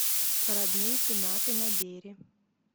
родные пенаты набери